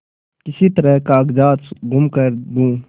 किसी तरह कागजात गुम कर दूँ